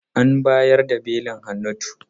An bayar da belin Hannatu.